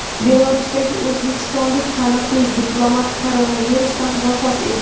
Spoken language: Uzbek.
Belarusdagi o‘zbekistonlik taniqli diplomat koronavirusdan vafot etdi.